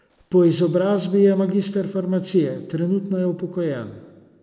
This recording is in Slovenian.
Po izobrazbi je magister farmacije, trenutno je upokojen.